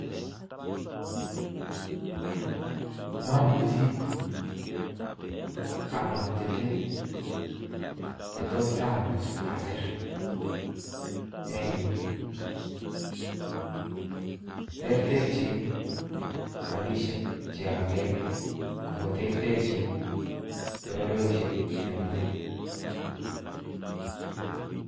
Momuchi amwaa cheten chetos amuch ocher eng' yuu, terterchin rabishek chekore ak ko terterchin bororoshiek chokere.